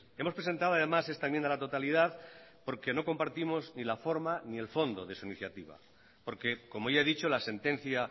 hemos presentado además esta enmienda a la totalidad porque no compartimos ni la forma ni el fondo de su iniciativa porque como ya he dicho la sentencia